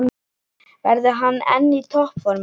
Verður hann enn í toppformi þá?